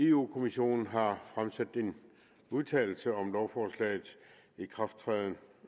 europa kommissionen har fremsat en udtalelse om lovforslagets ikrafttræden